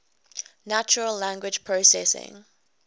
natural language processing